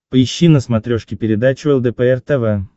поищи на смотрешке передачу лдпр тв